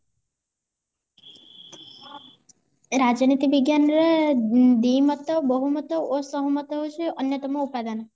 ରାଜନୀତି ବିଜ୍ଞାନ ରେ ଦିମତ ବୋହୁମତ ଓ ସହମତ ହେଉଚି ଅନ୍ଯତମ ଉପାଦାନ